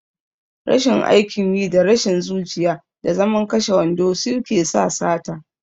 Rashin aikin yi, da rashin zuciya, da zaman kashe wando suke sa sata.